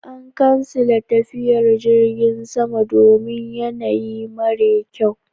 An kansile tafiyar Jirgin sama domin yanayi mara kyau.